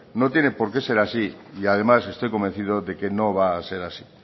no tiene por qué ser así y estoy convencido de que no va a ser así